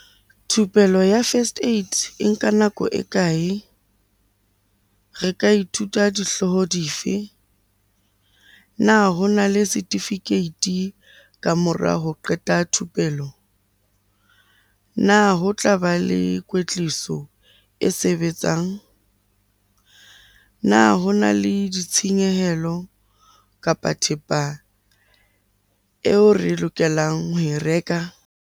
Thupelo ya first aid e nka nako e kae? Re ka ithuta dihlooho di fe? Na ho na le setifikeiti ka mora ho qeta thupelo? Na ho tlaba le kwetliso e sebetsang? Na ho na le ditshenyehelo, kapa thepa eo re lokelang ho e reka?